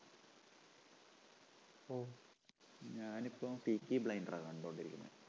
ഞാനിപ്പം city blinder ആ കണ്ടോണ്ടിരിക്കണേ